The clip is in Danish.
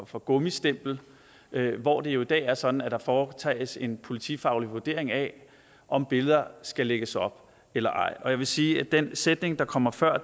for gummistempel hvor det jo i dag er sådan at der foretages en politifaglig vurdering af om billeder skal lægges op eller ej og jeg vil sige at den sætning der kommer før